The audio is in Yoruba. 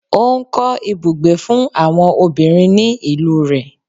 Ó ń kọ́ ibùgbé fún àwọn obìnrin ní ìlú rẹ̀